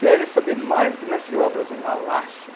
Querem saber mais do que mestre de obras, uma lástima.